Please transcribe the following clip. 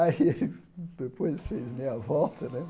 Aí depois fez meia volta, né?